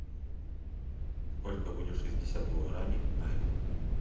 сколько будет шестьдесят гуарани в найрах